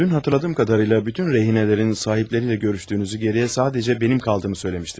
Dün xatırladığım qədərilə bütün rehinlərin sahibləri ilə görüşdüyünüzü, geriyə sadəcə mənim qaldığımı söyləmişdiniz.